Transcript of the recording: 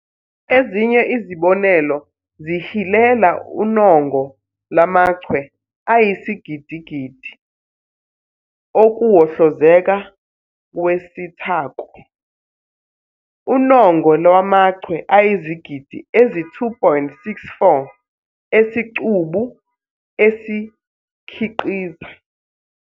Ezinye izibonelo zihilela unongo lamachwe ayisigidigidi okuwohlozeka kwesithako, unongo lwamachwe ayizigidi ezi-2.64 esicubu esikhiqiza